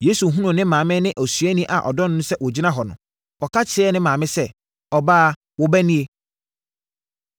Yesu hunuu ne maame ne osuani a ɔdɔ no no sɛ wɔgyina hɔ no, ɔka kyerɛɛ ne maame sɛ, “Ɔbaa, wo ba nie.”